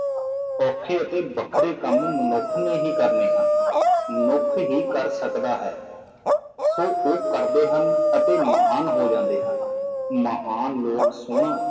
ਔਖੇ ਅਤੇ ਵੱਖਰੇ ਕੰਮ ਮਨੁੱਖ ਨੇ ਹੀ ਕਰਨੇ ਹਨ ਮਨੁੱਖ ਹੀ ਕਰ ਸਕਦਾ ਹੈ ਸੋ ਓਹ ਕਰਦੇ ਹਨ ਅਤੇ ਮਹਾਨ ਹੋ ਜਾਂਦੇ ਹਨ ਮਹਾਨ ਲੋਕ ਸੋਹਣਾ